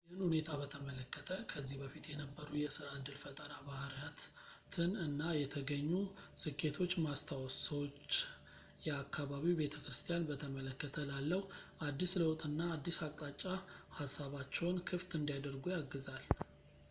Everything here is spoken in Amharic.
ይህን ሁኔታ በተመለከተ ከዚህ በፊት የነበሩ የስራ ዕድል ፈጠራ ባህሪያትን እና የተገኙ ስኬቶች ማስታወስ ሰዎች የአካባቢው ቤተክርስትያን በተመለከተ ላለው አዲስ ለውጥና አዲስ አቅጣጫ ሀሳባቸውን ክፍት እንዲያደርጉ ያግዛል